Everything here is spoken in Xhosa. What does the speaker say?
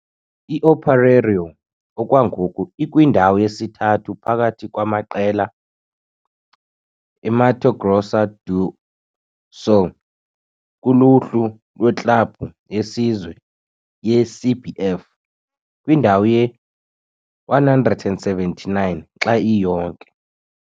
I-Operário okwangoku ikwindawo yesithathu phakathi kwamaqela e-Mato Grosso do Sul kuluhlu lweklabhu yesizwe ye-CBF, kwindawo ye-179 xa iyonke.